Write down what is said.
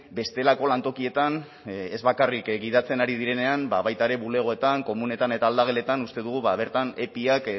bestelako lantokietan ez bakarrik gidatzen ari direnean baita ere bulegoetan komunetan eta aldageletan uste dugu bertan epiak